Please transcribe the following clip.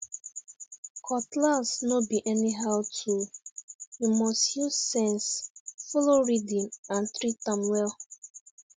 cutlass no be anyhow tool you must use sense follow rhythm and treat am well